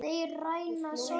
Ég hló með sjálfum mér.